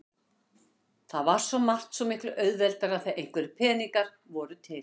Það var svo margt svo miklu auðveldara þegar einhverjir peningar voru til.